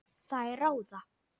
Þær ráða.